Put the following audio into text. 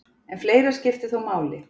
En fleira skipti þó máli.